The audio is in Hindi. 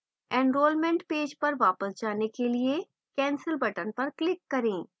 enrolment पेज पर वापस जाने के लिए cancel button पर click करें